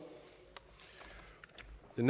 de